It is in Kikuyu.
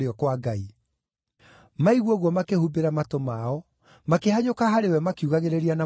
Maigua ũguo makĩhumbĩra matũ mao, makĩhanyũka harĩ we makiugagĩrĩria na mũgambo mũnene.